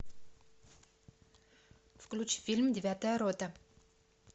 включи фильм девятая рота